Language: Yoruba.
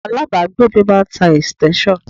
Alábàágbé mi máà ń tá extension.